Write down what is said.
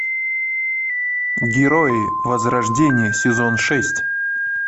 герои возрождение сезон шесть